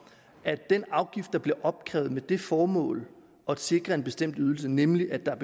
at den afgift der bliver opkrævet med det formål at sikre en bestemt ydelse nemlig at der